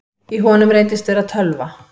Í honum reyndist vera tölva